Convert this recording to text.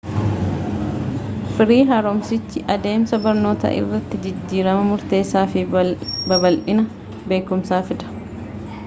firii haaromsichi adeemsa barnootaa irratti jijjiirama murteessaa fi babal'ina beekumsaa fida